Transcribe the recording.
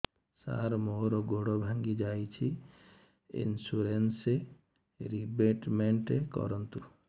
ସାର ମୋର ଗୋଡ ଭାଙ୍ଗି ଯାଇଛି ଇନ୍ସୁରେନ୍ସ ରିବେଟମେଣ୍ଟ କରୁନ୍ତୁ